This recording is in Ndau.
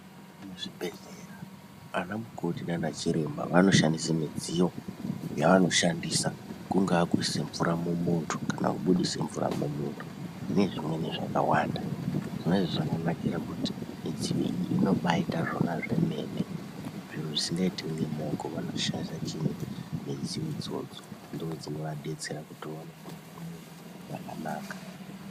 Muzvibhedhlera anamukoti nana chiremba vanoshandisa midziyo yaanoshandisa kungakuisa mvura mumuntu, kana kubudisa mvura mumuntu nezvimweni zvakawanda zvinenge zvakanakira kuti mudziyo iyi inoba yaita zvemene. Zviro zvisingaitwi ngemaoko anoshandisa chiinyi midziyo idzodzo ndidzo dzinoabetsera kuti aone kuona zvakanaka.